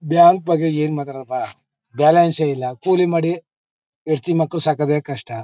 Bank ಬಗ್ಗೆ ಏನ್ ಮಾತಾಡ್ಲಪ್ಪ ಬ್ಯಾಲೆನ್ಸ್ ಏ ಇಲ್ಲ ಕೂಲಿ ಮಾಡಿ ಹೆಂಡ್ತಿ ಮಕ್ಕಳನ್ನ ಸಾಕೋದೆ ಕಷ್ಟ.